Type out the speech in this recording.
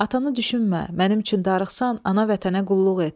Atanı düşünmə, mənim üçün darıxsan, ana vətənə qulluq et.